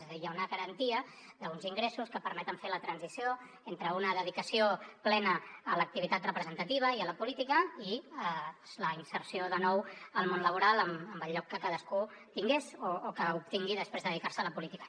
és a dir hi ha una garantia d’uns ingressos que permeten fer la transició entre una dedicació plena a l’activitat representativa i a la política i la inserció de nou al món laboral amb el lloc que cadascú tingués o que obtingui després de dedicar se a la política